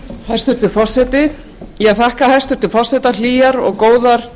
hæstvirtur forseti ég þakka hæstvirtum forseta hlýjar og góðar